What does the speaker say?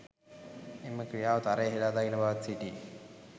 එම ක්‍රියාව තරයේ හෙළා දකින බවත් සිටී